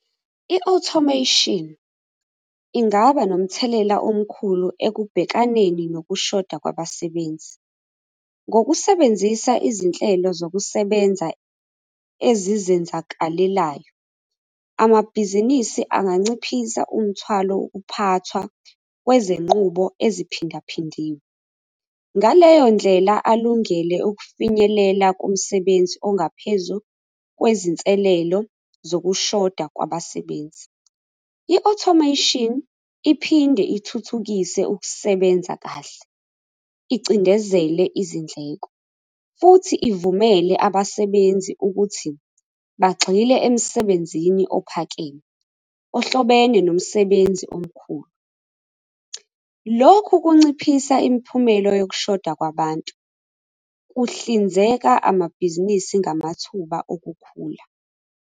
I-Automation ingaba nomthelela omkhulu ekubhekaneni nokushoda kwabasebenzi ngokusebenzisa izinhlelo zokusebenza ezizenzakalelayo. Amabhizinisi anganciphisa umthwalo ukuphathwa kwezenqubo eziphindaphindiwe ngaleyo ndlela alungele ukufinyelela kumsebenzi ongaphezu kwezinselelo zokushoda kwabasebenzi. I-Automation iphinde ithuthukise ukusebenza kahle icindezele izindleko futhi ivumele abasebenzi ukuthi bagxile emsebenzini ophakeme, ohlobene nomsebenzi omkhulu. Lokhu kunciphisa imiphumela yokushoda kwabantu kuhlinzeka amabhizinisi ngamathuba okukhula.